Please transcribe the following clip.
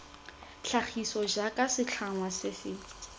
tlhagiso jaaka setlhangwa se se